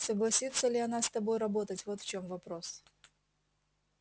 согласится ли она с тобой работать вот в чём вопрос